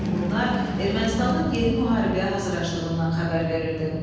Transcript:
Bütün bunlar Ermənistanın yeni müharibəyə hazırlaşdığından xəbər verirdi.